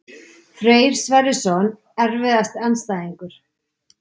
Freyr Sverrisson Erfiðasti andstæðingur?